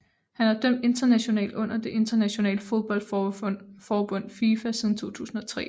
Han har dømt internationalt under det internationale fodboldforbund FIFA siden 2003